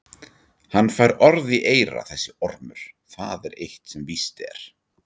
Hann fær orð í eyra þessi ormur, það er eitt sem víst er.